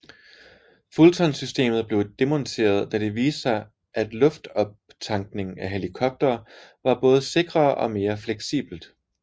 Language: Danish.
Fulton systemet blev demonteret da det viste sig at luftoptankning af helikoptere var både sikrere og mere fleksibelt